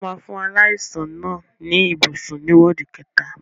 Wọ́n máa fún aláìsàn náà ní ibùsùn ní wọ́ọ̀dù kẹta.